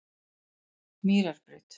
Mýrarbraut